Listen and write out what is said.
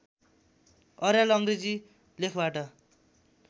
अर्याल अङ्ग्रेजी लेखबाट